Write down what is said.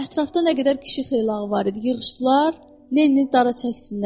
Ətrafda nə qədər kişi xeylağı var idi, yığışdılar, Lenini dara çəksinlər.